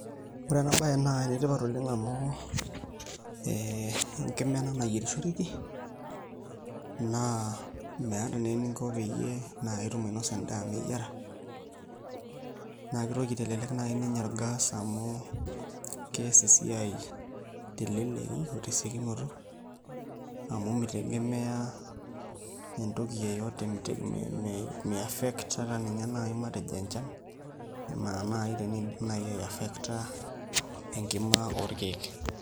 Ore enabaye naa enetipat oleng' amu ee enkima ena nayierishoreki naa meeta naa eninko pee inya endaa meyiara naa kitoki aitelelek nai ninye orgas amu kees esiai teleleki o tesiokinoto amu mitegemea entoki yeyote mi a ffect ata ninye naai matejo enchan enaa naai teniidim aiffecta enkima orkeek.